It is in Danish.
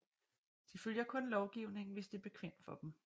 De følger kun lovgivningen hvis det er bekvemt for dem